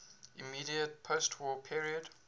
immediate postwar period